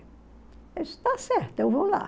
está certo, eu vou lá.